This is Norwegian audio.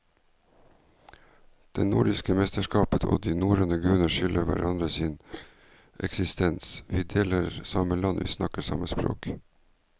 Det nordiske mennesket og de norrøne guder skylder hverandre sin eksistens, vi deler samme land, vi snakker samme språk.